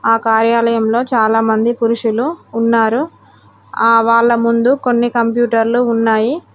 ఆ కార్యాలయంలో చాలామంది పురుషులు ఉన్నారు ఆ వాళ్ల ముందు కొన్ని కంప్యూటర్లు ఉన్నాయి.